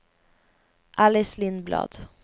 Alice Lindblad